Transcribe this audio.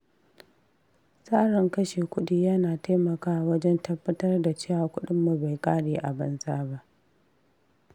Tsarin kashe kuɗi yana taimakawa wajen tabbatar da cewa kudinmu bai kare a banza ba.